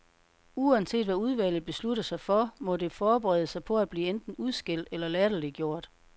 Uanset hvad udvalget beslutter sig for, må det forberede sig på at blive enten udskældt eller latterliggjort.